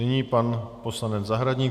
Nyní pan poslanec Zahradník.